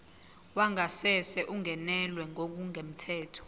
wangasese ungenelwe ngokungemthetho